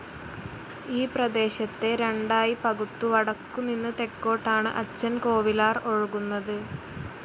ഈപ്രദേശത്തെ രണ്ടായി പകുത്തു വടക്കു നിന്ന് തെക്കോട്ടാണ് അച്ചൻ കോവിലാർ ഒഴുകുന്നത്.